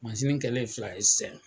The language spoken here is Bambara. kɛlen fila ye sisɛn